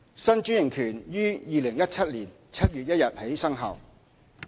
新專營權於2017年7月1日起生效。